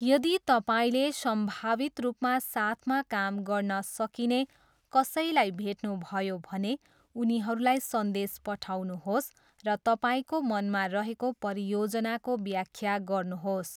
यदि तपाईँले सम्भावित रूपमा साथमा काम गर्न सकिने कसैलाई भेट्नुभयो भने उनीहरूलाई सन्देश पठाउनुहोस् र तपाईँको मनमा रहेको परियोजनाको व्याख्या गर्नुहोस्।